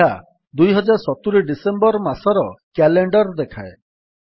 ଏହା 2070 ଡିସେମ୍ୱର୍ ମାସର କ୍ୟାଲେଣ୍ଡର୍ ଦେଖାଏ